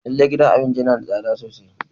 Lallai gidan abincin yana da tsada sosai.